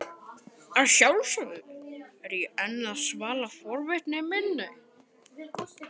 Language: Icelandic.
Að sjálfsögðu er ég enn að svala forvitni minni.